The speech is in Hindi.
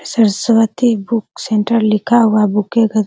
सरस्वती बुक सेंटर लिखा हुआ है बुके के --